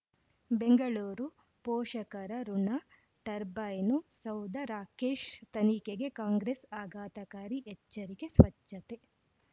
ಬೆಂಗಳೂರು ಪೋಷಕರಋಣ ಟರ್ಬೈನು ಸೌಧ ರಾಕೇಶ್ ತನಿಖೆಗೆ ಕಾಂಗ್ರೆಸ್ ಆಘಾತಕಾರಿ ಎಚ್ಚರಿಕೆ ಸ್ವಚ್ಛತೆ